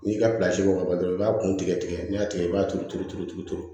N'i ka ka dɔrɔn i b'a kun tigɛ tigɛ n'i y'a tigɛ i b'a turu turu turu turu